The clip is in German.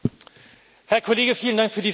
Herr Kollege, vielen Dank für die Frage.